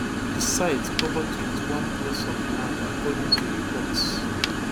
di site cover twenty-one plots of land according to reports